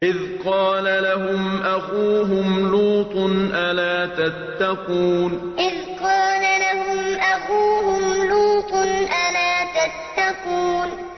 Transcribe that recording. إِذْ قَالَ لَهُمْ أَخُوهُمْ لُوطٌ أَلَا تَتَّقُونَ إِذْ قَالَ لَهُمْ أَخُوهُمْ لُوطٌ أَلَا تَتَّقُونَ